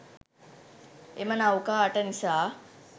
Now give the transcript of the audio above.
එම නෞකා අට නිසා